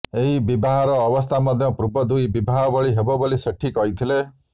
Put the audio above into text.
ଏହି ବିବାହର ଅବସ୍ଥା ମଧ୍ୟ ପୂର୍ବ ଦୁଇ ବିବାହ ଭଳି ହେବ ବୋଲି ସେଟ୍ଟୀ କହିଥିଲେ